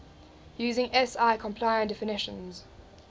using si compliant definitions